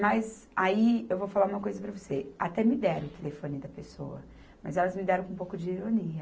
Mas aí, eu vou falar uma coisa para você, até me deram o telefone da pessoa, mas elas me deram com um pouco de ironia.